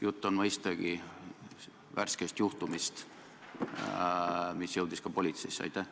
Jutt on mõistagi värskest juhtumist, mis jõudis ka politseisse.